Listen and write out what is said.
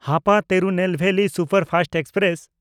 Hapa Tirunelveli superfast express